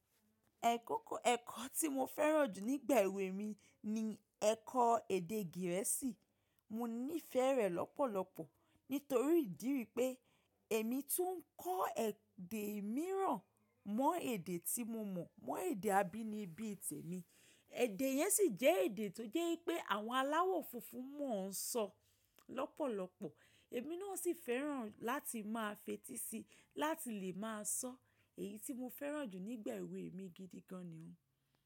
Ẹ̀kọ́ tí mo fẹ́ràn jù nígbà èwe mi ni ẹkọ́ èdè Gẹ̀ẹ́sì. Mo nífẹẹ rẹ lọ́pọ̀lọpọ̀ nítorí ìdí wípé èmi tún ń kọ́ èdè mìíràn mọ́ èdè tí mo mọ̀, mọ́ èdè abínibí tèmi. Èdè yẹn sì jẹ́ èdè tó jẹ́ wipé àwọn aláwọ̀ funfun mọ̀ ń sọ lọ́pọ̀lọpọ̀. Èmi náà sì fẹ́ràn láti máa fetí sí i láti lè máa sọ. Èyí tí mo fẹ́ràn jù nígbà èwe mi gidi gan ni.